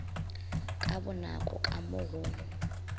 ka bonako ka mo go